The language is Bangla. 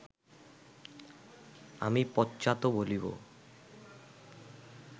আমি পশ্চাৎ বলিব